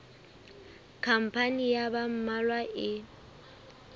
khampani ya ba mmalwa e